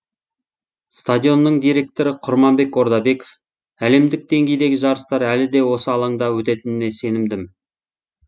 стадионның директоры құрманбек ордабеков әлемдік деңгейдегі жарыстар әлі де осы алаңда өтетініне сенімді